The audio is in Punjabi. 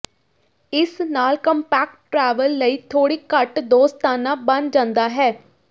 ਇਸ ਨਾਲ ਕਾਮਪੈਕਟ ਟ੍ਰੈਵਲ ਲਈ ਥੋੜ੍ਹੀ ਘੱਟ ਦੋਸਤਾਨਾ ਬਣ ਜਾਂਦਾ ਹੈ